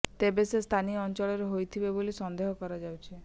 ତେବେ ସେ ସ୍ଥାନୀୟ ଅଞ୍ଚଳର ହୋଇଥିବେ ବୋଲି ସନ୍ଦେହ କରାଯାଉଛି